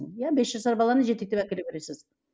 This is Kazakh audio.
иә бес жасар баланы жетектеп әкеле бересіз